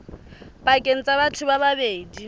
pakeng tsa batho ba babedi